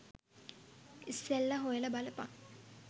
ඉස්සෙල්ල හොයල බලපන්